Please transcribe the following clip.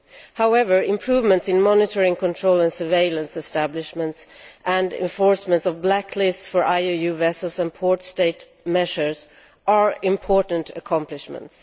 However, improvements in monitoring control and surveillance establishments and enforcement of blacklists for IUU vessels and port state measures are important accomplishments.